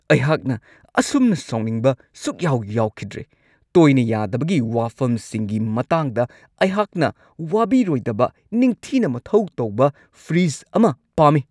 ꯑꯩꯍꯥꯛꯅ ꯑꯁꯨꯝꯅ ꯁꯥꯎꯅꯤꯡꯕ ꯁꯨꯛꯌꯥꯎ-ꯌꯥꯎꯈꯤꯗ꯭ꯔꯤ ꯫ ꯇꯣꯏꯅ ꯌꯥꯗꯕꯒꯤ ꯋꯥꯐꯝꯁꯤꯡꯒꯤ ꯃꯇꯥꯡꯗ ꯑꯩꯍꯥꯛꯅ ꯋꯥꯕꯤꯔꯣꯏꯗꯕ ꯅꯤꯡꯊꯤꯅ ꯃꯊꯧ ꯇꯧꯕ ꯐ꯭ꯔꯤꯖ ꯑꯃ ꯄꯥꯝꯃꯤ ꯫